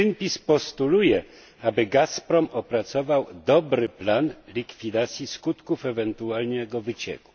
Greenpeace postuluje, aby Gazprom opracował dobry plan likwidacji skutków ewentualnego wycieku.